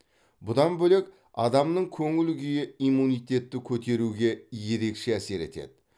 бұдан бөлек адамның көңіл күйі иммунитетті көтеруге ерекше әсер етеді